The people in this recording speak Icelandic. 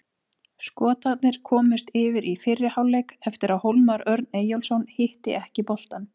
Skotarnir komust yfir í fyrri hálfleik eftir að Hólmar Örn Eyjólfsson hitti ekki boltann.